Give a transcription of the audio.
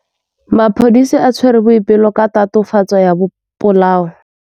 Maphodisa a tshwere Boipelo ka tatofatsô ya polaô.